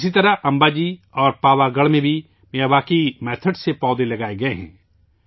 اسی طرح امباجی اور پاوا گڑھ میں بھی میاواکی طریقہ کار سے پودے لگائے گئے ہیں